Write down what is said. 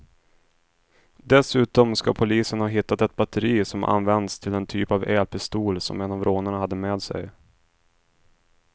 Dessutom ska polisen ha hittat ett batteri som används till den typ av elpistol som en av rånarna hade med sig.